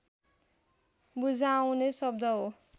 बुझाउने शब्द हो